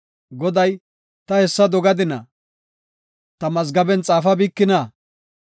Goday, “Ta hessa dogadina? Ta mazgaben xaafabikina?